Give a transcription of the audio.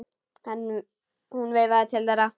Hún veifaði til þeirra.